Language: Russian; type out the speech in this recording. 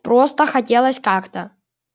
просто хотелось как-то